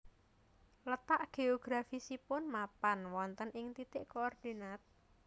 Letak geografisipun mapan wonten ing titik koordinat